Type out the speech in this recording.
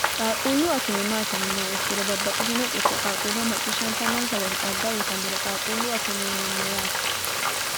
qaaquullu akime maati yinummoha ikkiro babbaxxitino xisso qaaquulla macciishshantanonsa woyete xagga uyitanore qaaquullu akime yinanni yaate.